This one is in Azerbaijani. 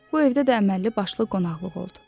Bu evdə də əməlli başlı qonaqlıq oldu.